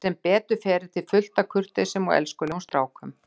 Sem betur fer er til fullt af kurteisum og elskulegum strákum.